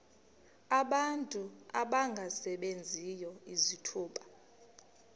abantu abangasebenziyo izithuba